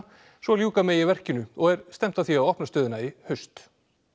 svo ljúka megi verkinu og er stefnt að því að opna stöðina í haust